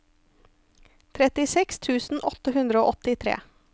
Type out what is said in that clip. trettiseks tusen åtte hundre og åttitre